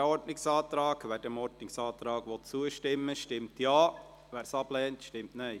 Wer diesem Ordnungsantrag zustimmen will, stimmt Ja, wer diesen ablehnt, stimmt Nein.